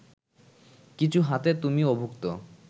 কিছু হাতে তুমি অভুক্ত